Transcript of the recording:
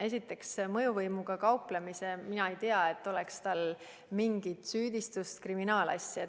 Esiteks, mõjuvõimuga kauplemise kohta ütlen, et mina ei tea tal olevat mingit süüdistust, kriminaalasja.